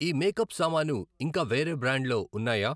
ఈ మేకప్ సామాను ఇంకా వేరే బ్రాండ్లో ఉన్నాయా?